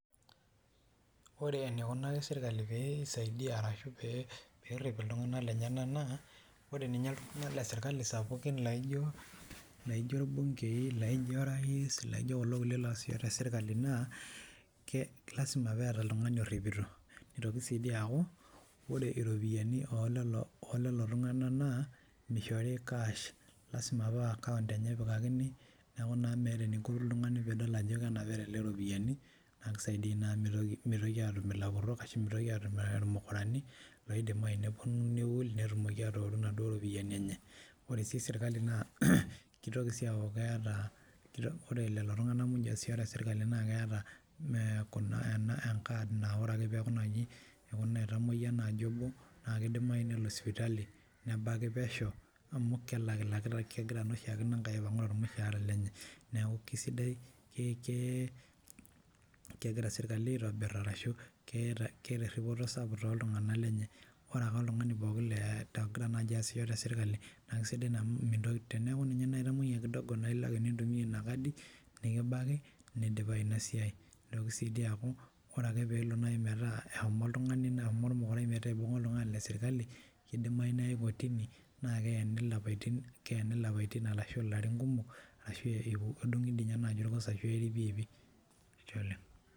Ore enikunaki sirkali pee isaidi arashu peerrip iltung'anak lenyenak enaa ore ninye iltung'anak le sirkali sapukin laijo irbungei, laijo orais, laijo kulo kulie loosisho te sirkali naa lazima peeta oltung'ani orripito. Nitoki sii dii aaku ore iropiyiani oo lelo tung'anak naa mishori cash. lazima paa account enye epikakini naa amu meeta eninko piiyiolou ajo kenapita ele tung'ani iropiyiani naa kisaidia naa amu mitoki aatum ilapurrok ashu mitoki aatum irmukurani loidimayu nepwonu niul netumoki aatooru inaduo ropiyiani enye. Ore sii serkali naa kitoki sii aaku keeta, ore lelo tung'anak muj oosisho te serkali naa keeta enkad naa ore ake naai peeku etamwoyia obo naa kidimayu nelo sipitali nebaki pesho amu kelakilakita, kegira naa oshiake aipang'u tormushaara lenye. Neeku kisidai, kegira serkali aitobiraa ashu keeta erripito sapuk toltung'anak lenye. Ore ake oltung'ani pooki ogira aasisho te serkali naa sidai naa amu mintoki, teneeku ninye naai itamwoyia kidogo naa ilo ake nintumia ina kadi, nikibaki, nidipayu ina siai. Nitoki sii dii aaku ore ake peelo naai metaa eshomo oltung'ani naa mukurai metaa ibung'a oltung'ani le sirkali kidimayu neyae kotini naa keeni ilapaitin ashu ilarin kumok, ashu iko edung'i dii naaji orgos ashu eeri piiipi. Ashe oleng